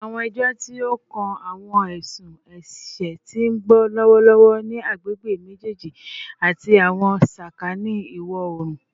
Awọn ẹjọ ti o kan awọn ẹsun ẹṣẹ ti n gbọ lọwọlọwọ ni agbegbe mejeeji ati awọn sakani iwọ-oorun